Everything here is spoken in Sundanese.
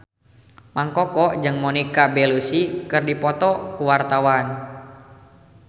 Mang Koko jeung Monica Belluci keur dipoto ku wartawan